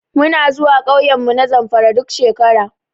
Muna zuwa ƙauyenmu na Zamfara duk shekara.